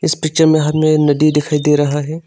इस पिक्चर में हमे नदी दिखाई दे रहा है।